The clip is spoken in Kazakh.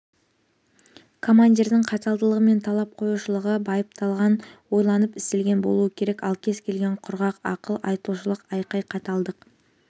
командирдің қаталдығы мен талап қоюшылығы байыпталған ойланып істелген болуы керек ал кез келген құрғақ ақыл айтушылық айқай қаталдық